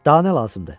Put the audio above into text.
Danə lazımdır.